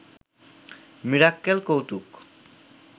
মিরাক্কেল কৌতুক